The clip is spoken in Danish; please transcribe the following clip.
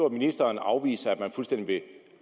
at ministeren afviser at man fuldstændig vil